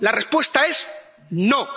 La respuesta es no.